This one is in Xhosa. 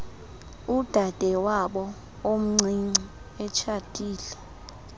udadewabo omncinci etshatile